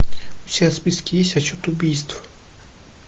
у тебя в списке есть отсчет убийств